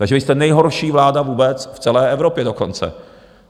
Takže vy jste nejhorší vláda vůbec v celé Evropě dokonce.